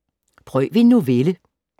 Prøv en novelle